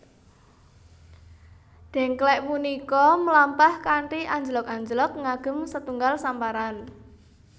Dèngklèk punika mlampah kanthi anjlog anjlog ngagem setunggal samparan